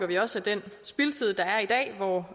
vi også den spildtid der er i dag hvor